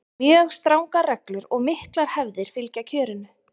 mjög strangar reglur og miklar hefðir fylgja kjörinu